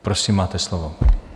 Prosím, máte slovo.